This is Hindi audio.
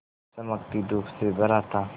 चमकती धूप से भरा था